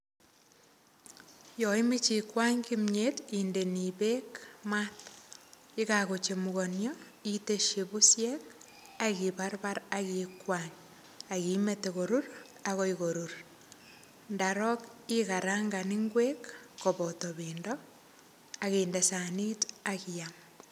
Yaimeche ikwany kimyet, indeni beek maat. Yekakochemukanio, iteshi busiek, akibarbar, akikwany. Akimete korur, akoi korur. Ndarok, ikarangan ngwek, koboto pendo, akinde sanit, akiam.